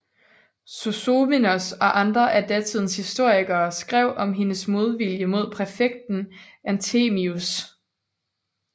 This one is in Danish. Sozomenos og andre af datidens historikere skrev om hendes modvilje mod præfekten Anthemius